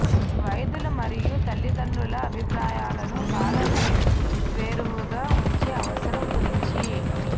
వైద్యుల మరియు తల్లిదండ్రుల అభిప్రాయాలను బాల వేర్వేరుగా ఉంచే అవసరం గురించి